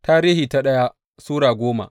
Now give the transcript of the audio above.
daya Tarihi Sura goma